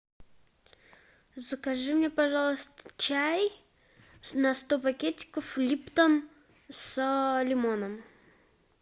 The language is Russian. закажи мне пожалуйста чай на сто пакетиков липтон с лимоном